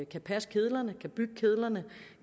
kan passe kedlerne kan bygge kedlerne